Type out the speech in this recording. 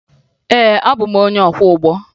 Ee, abụ m onye ọkwọụgbọ